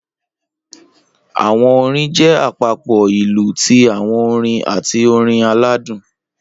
Awọn orin jẹ apapo ilu ti awọn orin ati orin aladun